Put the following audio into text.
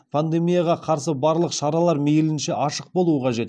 пандемияға қарсы барлық шаралар мейлінше ашық болуы қажет